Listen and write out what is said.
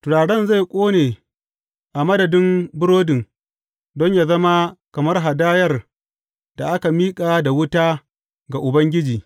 Turaren zai ƙone a madadin burodin don yă zama kamar hadayar da aka miƙa da wuta ga Ubangiji.